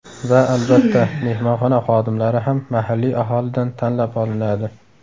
Va, albatta, mehmonxona xodimlari ham mahalliy aholidan tanlab olinadi.